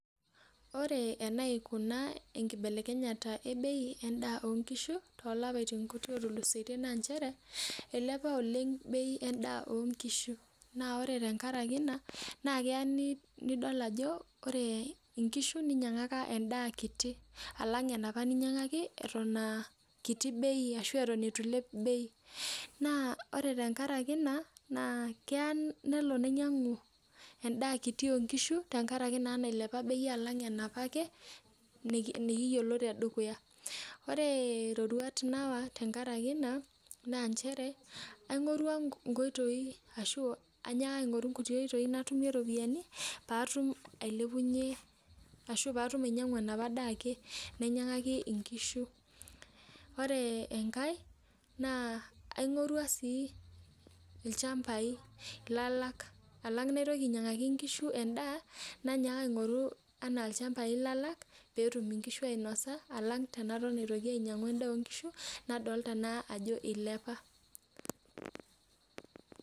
Ore enaikuna enkibelekenyata endaa onkishu tolapaitin otulusoitie na nchere ilepa oleng endaa onkishu neaku ore tenkaraki ina na keya nidol ajo ore nkishu ninyangaka endaa kiti alang enaapa ninyangaki atan a akiti bei na ore tenkaraki ina na kelo ninyangu endaa onkishu tenkaraki bei apa nailepa enaapake nikiyioko tedukuya ore roruat nayawa tenkaraki ena na nchere ainoto enkpitoi natumie ropiyanu patum ainyangubenaapa daa ake nainyangakie nkishu ore enkae ainoto lchambai lalak alang enaitoki ainyangaki nkishu endaa nainyaka aingoru petum nkishu entoki nanya alang enetum nkishu ewoi nanya nadolita ajo ilepa